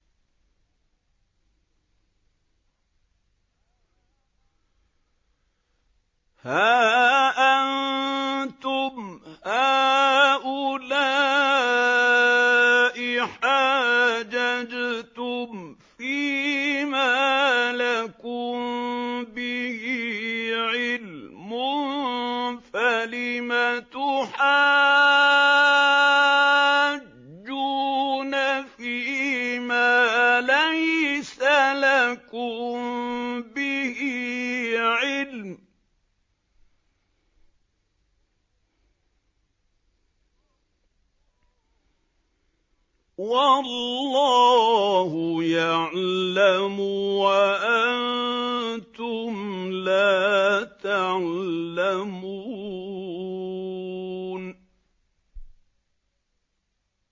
هَا أَنتُمْ هَٰؤُلَاءِ حَاجَجْتُمْ فِيمَا لَكُم بِهِ عِلْمٌ فَلِمَ تُحَاجُّونَ فِيمَا لَيْسَ لَكُم بِهِ عِلْمٌ ۚ وَاللَّهُ يَعْلَمُ وَأَنتُمْ لَا تَعْلَمُونَ